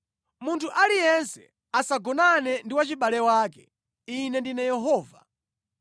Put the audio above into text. “ ‘Munthu aliyense asagonane ndi wachibale wake. Ine ndine Yehova.